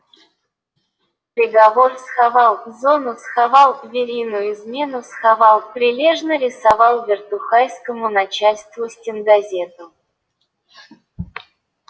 приговор схавал зону схавал верину измену схавал прилежно рисовал вертухайскому начальству стенгазету